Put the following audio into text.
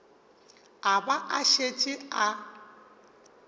a ba a šetše a